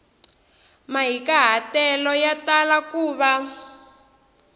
mahikahatelo ya tala ku va